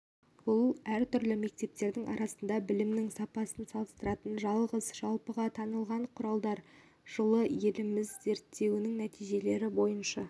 бұл әртүрлі мектептердің арасында білімнің сапасын салыстыратын жалғыз жалпыға танылған құралдар жылы еліміз зерттеуінің нәтижелері бойынша